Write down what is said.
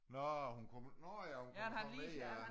Nå hun kommer nårh ja hun kommer så ned ja